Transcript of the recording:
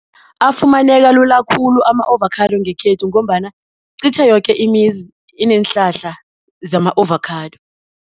Afumaneka lula khulu ama-ovakhado ngekhethu ngombana qitjhe yoke imizi ineenhlahla zama-ovakhado.